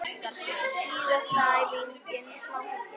Síðasta æfingin planki.